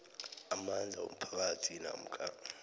amandla womphakathi namkha